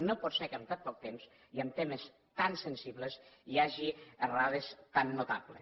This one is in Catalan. no pot ser que en tant poc temps i en temes tan sensibles hi hagi errades tan notables